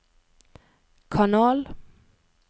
kanal